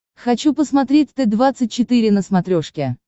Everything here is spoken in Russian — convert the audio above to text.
хочу посмотреть т двадцать четыре на смотрешке